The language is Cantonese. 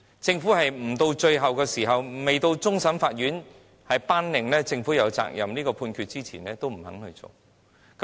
政府不到最後一刻，不到終審法院頒令"政府有責任"的判決前都不願做。